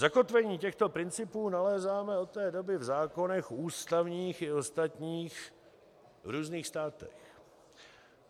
Zakotvení těchto principů nalézáme od té doby v zákonech ústavních i ostatních v různých státech.